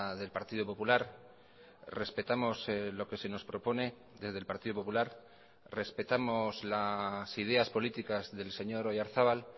del partido popular respetamos lo que se nos propone desde el partido popular respetamos las ideas políticas del señor oyarzabal